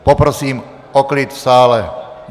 Poprosím o klid v sále.